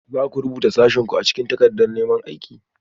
Za ku rubuta sashenku a cikin takardar neman aiki?